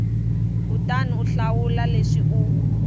kutani u hlawula leswi u